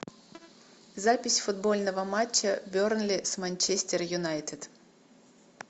запись футбольного матча бернли с манчестер юнайтед